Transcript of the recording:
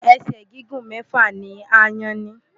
Ẹ̀sẹ̀ gígùn mẹ́fà ni aáyán ní.